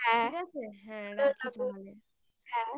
হ্যাঁ ঠিক আছে রাখি তাহলে